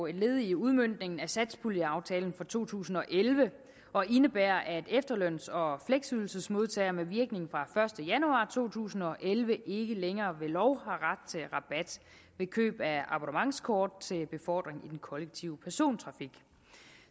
et led i udmøntningen af satspuljeaftalen for to tusind og elleve og indebærer at efterløns og fleksydelsesmodtagere med virkning fra første januar to tusind og elleve ikke længere ved lov har ret til rabat ved køb af abonnementskort til befordring i den kollektive persontrafik